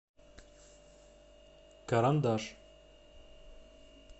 карандаш